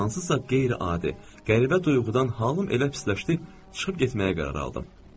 Hansısa qeyri-adi, qəribə duyğudan halım elə pisləşdi, çıxıb getməyə qərar aldım.